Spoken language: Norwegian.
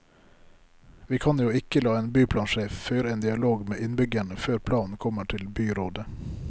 Vi kan jo ikke la en byplansjef føre en dialog med innbyggerne før planen kommer til byrådet.